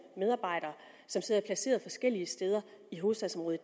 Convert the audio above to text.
medarbejdere som sidder placeret forskellige steder i hovedstadsområdet